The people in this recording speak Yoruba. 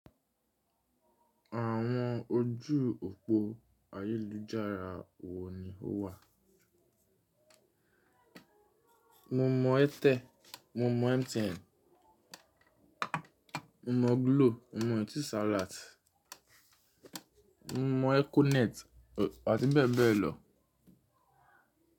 Àwọn ojú òpó ayélujára wo ni ó wà? Mo mọ Airtel, mo mọ MTN, mo mọ Glo, mo mọ Etisalat, mo mọ Econet àti bẹ́ẹ̀ bẹ́ẹ̀ lọ.